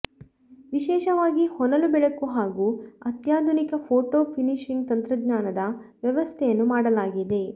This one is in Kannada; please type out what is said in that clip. ವಿಶೇಷವಾಗಿ ಹೊನಲು ಬೆಳಕು ಹಾಗೂ ಅತ್ಯಾಧುನಿಕ ಫೋಟೋ ಫಿನಿಶಿಂಗ್ ತಂತ್ರಜ್ಞಾನದ ವ್ಯವಸ್ಥೆಯನ್ನು ಮಾಡಲಾಗಿದೆ